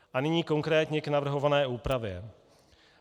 A nyní konkrétně k navrhované úpravě.